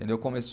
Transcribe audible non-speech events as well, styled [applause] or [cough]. entendeu? [unintelligible]